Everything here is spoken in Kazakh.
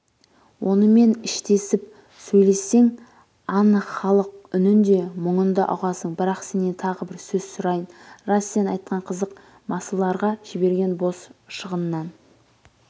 онымен іштесіпсөйлессеңанықхалықұнінде мүңындаұғасың бірақ сенен тағы бір сөз сұрайын рас сен айтқан қызық-масыларға жіберген бос шығыннан